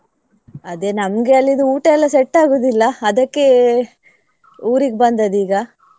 ಅದೇ ನನ್ಗೆ ಅಲ್ಲಿದು ಊಟ ಎಲ್ಲಾ set ಆಗುದಿಲ್ಲ ಅದಕ್ಕೆ ಊರಿಗೆ ಬಂದದ್ದು ಈಗ.